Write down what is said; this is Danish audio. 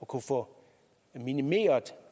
kunne få minimeret